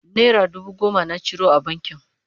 naira dubu goma na ciro a bankin